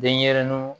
Denɲɛrɛninw